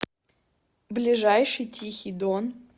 ближайший тихий дон